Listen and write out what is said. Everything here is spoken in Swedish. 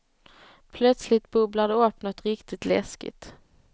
Plötsligt bubblar det upp nåt riktigt läskigt.